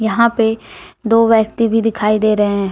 यहां पे दो व्यक्ति भी दिखाई दे रहे हैं।